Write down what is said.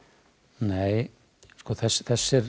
nei þessir